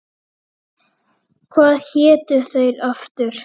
Hvað hétu þeir aftur?